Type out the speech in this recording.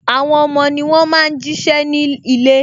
Àwọn ọmọ ni wọn máa ń jí ṣẹ́ ní ilé